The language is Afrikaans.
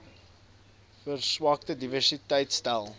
verswakte diversiteit stel